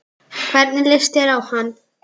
Hvernig leist þér á hann?